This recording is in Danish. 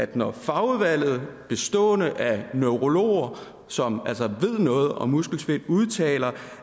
det når fagudvalget bestående af neurologer som altså ved noget om muskelsvind udtaler